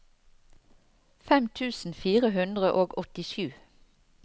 fem tusen fire hundre og åttisju